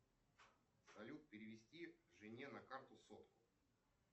салют перевести жене на карту сотку